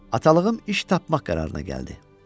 Atalığım iş tapmaq qərarına gəldi.